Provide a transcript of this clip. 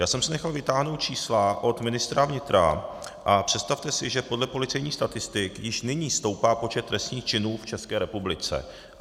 Já jsem si nechal vytáhnout čísla od ministra vnitra, a představte si, že podle policejních statistik již nyní stoupá počet trestných činů v České republice.